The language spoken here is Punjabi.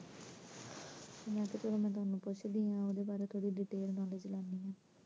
ਮੈਂ ਕਿਹਾ ਫੇਰ ਹੁਣ ਮੈਂ ਤੁਹਾਨੂੰ ਪੁੱਛਦੀ ਆ, ਓਦੇ ਬਾਰੇ ਥੋੜੀ detail knowledge ਲੈਨੀ ਆ